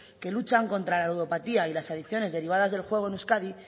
que luchan contra la ludopatía y las adiciones derivadas del juego en euskadi